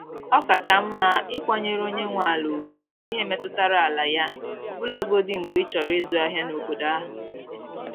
Ọ kacha mma ịkwanyere onye nwe ala ugwu n’ihe metụtara ala ya, ọbụlagodi mgbe ịchọrọ izu ahịa n’obodo ahụ.